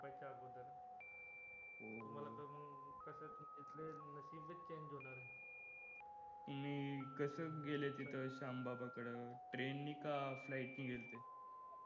तुम्ही कसं गेले तिथं श्यामबाबाकडे train नि का flight नि गेलते